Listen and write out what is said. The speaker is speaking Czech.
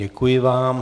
Děkuji vám.